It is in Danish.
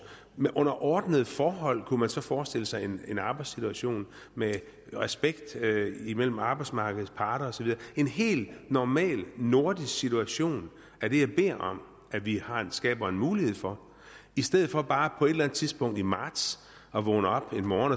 under ordnede forhold man kunne forestille sig en arbejdssituation med respekt imellem arbejdsmarkedets parter og så videre en helt normal nordisk situation er det jeg beder om vi skaber en mulighed for i stedet for bare på et eller andet tidspunkt i marts at vågne op en morgen